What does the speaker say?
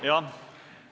Jah.